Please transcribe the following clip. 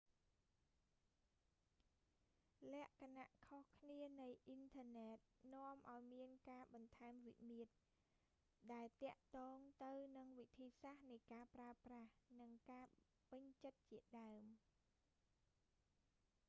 លក្ខណៈខុសគ្នានៃអ៊ីនធឺណិត នាំឱ្យមានការបន្ថែមវិមាត្រ ដែលទាក់ទងទៅនឹងវិធីសាស្ត្រនៃការប្រើប្រាស់ និងការពេញចិត្តជាដើម